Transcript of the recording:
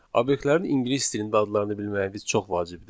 Obyektlərin ingilis dilində adlarını bilməyimiz çox vacibdir,